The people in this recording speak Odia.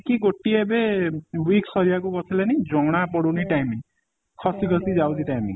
କି ଗୋଟିଏ ଏବେ week ସରିବାକୁ ବସିଲାଣି ଜଣା ପଡୁନି time ଖସି ଖସି ଯାଉଛି time